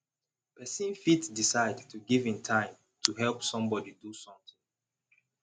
persin fit decide to give im time to help somebody do something